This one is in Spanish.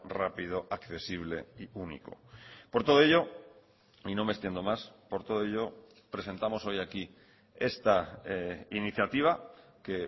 rápido accesible y único por todo ello y no me extiendo más por todo ello presentamos hoy aquí esta iniciativa que